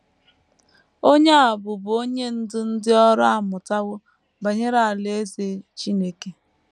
Onye a bụbu onye ndú ndị ọrụ amụtawo banyere Alaeze Chineke.